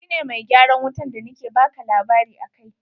Shi ne mai gyaran wutan da na ke baka labari akai.